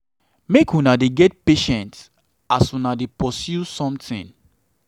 make una dey get patience as una dey pursue somtin.